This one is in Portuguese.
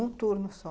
Um turno só.